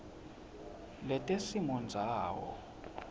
letesimondzawo